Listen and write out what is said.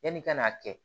Yanni i ka n'a kɛ